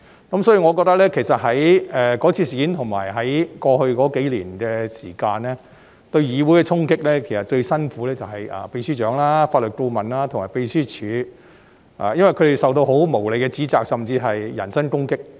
因此，我認為在該次事件及在過去數年間，就他們對議會的衝擊而言，其實最辛苦是秘書長、法律顧問和秘書處同事，因為他們受到很無理的指責，甚至人身攻擊。